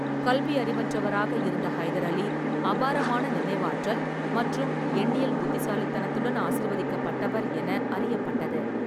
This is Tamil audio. கல்வியறிவற்றவராக இருந்த ஹைதர் அலி, அபாரமான நினைவாற்றல் மற்றும் எண்ணியல் புத்திசாலித்தனத்துடன் ஆசிர்வதிக்கப்பட்டவர் என அறியப்பட்டது.